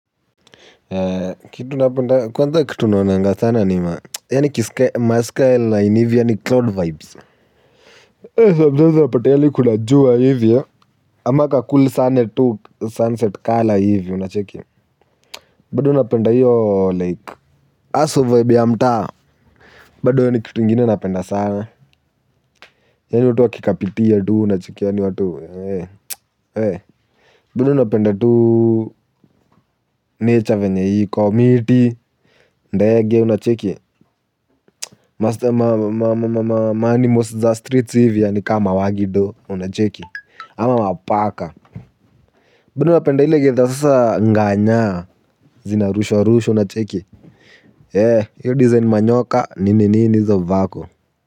Kitu napenda kwanza kitu naonanganga sana ni yaani ma skyline hivi yani cloud vibes ee sometimes unapata yani kuna jua hivi ama ka cool sunset color hivi unacheki. Bado napenda hiyo like haswa vibe ya mtaa. Bado hiyo ni kitu ingine napenda sana. Yani watu wakikapitia tu unacheki yani watu. Badu napenda tu nature venye iko miti ndege unacheki. Masta ma ma ma ma ma ma ma anmalsi zastreets hivi ni kama ma wagido unacheki ama mapaka bado napenda ile githa sasa nganya zina rushwa rushwa unacheki eh hio design manyoka nini hizo vako.